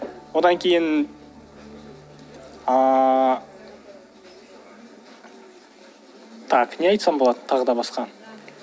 одан кейін ыыы так не айтсам болады тағы да басқа